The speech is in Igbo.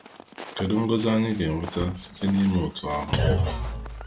Kedu Ngọzi anyi ga-enweta site n’ime otú ahụ?